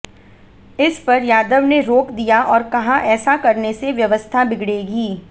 इस पर यादव ने रोक दिया और कहा ऐसा करने से व्यवस्था बिगड़ेगी